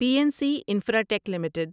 P N C infratech limited